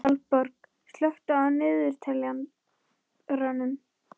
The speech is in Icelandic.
Valborg, slökktu á niðurteljaranum.